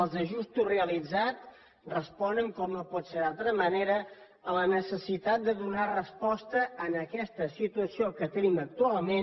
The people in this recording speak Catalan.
els ajustos realitzats responen com no pot ser d’altra manera a la necessitat de donar resposta a aquesta situació que tenim actualment